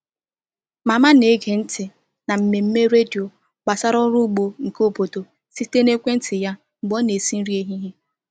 Mama na-ege ntị na mmemme redio gbasara ọrụ ugbo nke obodo site na ekwentị ya mgbe ọ na-esi nri n’ehihie.